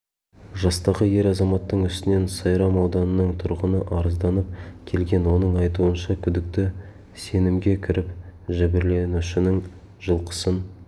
жастағы ер азаматтың үстінен сайрам ауданының тұрғыны арызданып келген оның айтуынша күдікті сенімге кіріп жәбірленушінің жылқысын